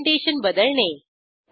orientation बदलणे